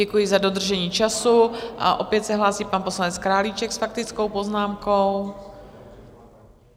Děkuji za dodržení času, a opět se hlásí pan poslanec Králíček s faktickou poznámkou.